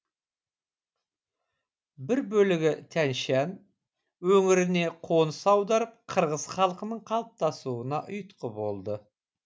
бір бөлігі тянь шань өңіріне қоныс аударып қырғыз халқының қалыптасуына ұйтқы болды